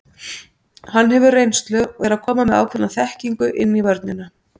Hann hefur reynslu og er að koma með ákveðna þekkingu inn í vörnina.